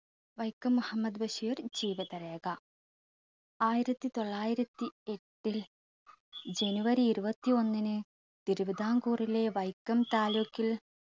വൈക്കം മുഹമ്മദ് ബഷീർ ജീവിതരേഖ. ആയിരത്തി തൊള്ളായിരത്തി എട്ടിൽ ജനുവരി ഇരുപത്തി ഒന്നിന് തിരുവിതാംകൂറിലെ വൈക്കം താലൂക്കിൽ